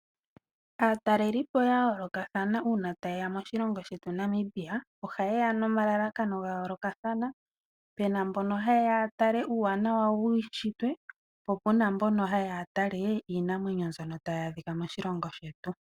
Aatalelipo ya yoolokathana uuna taye ya moNamibia ohaye ya nomalalakano gayoolokathana. Yamwe ohaye ya yatale uuwanawa wuushitwe yo yamwe ohaye ya yatale iinamwenyo.